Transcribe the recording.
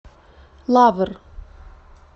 лавр